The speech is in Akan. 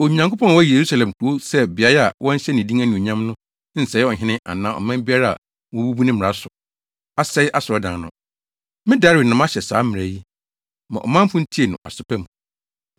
Onyankopɔn a wayi Yerusalem kurow sɛ beae a wɔnhyɛ ne din anuonyam no nsɛe ɔhene anaa ɔman biara a wobebu ne mmara so, asɛe asɔredan no. Me Dario na mahyɛ saa mmara yi. Ma ɔmanfo ntie no aso pa mu.